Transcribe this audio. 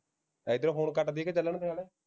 ਏਧਰੋਂ phone cut ਦੀਏ ਕਿ ਚਲਣ ਦੇ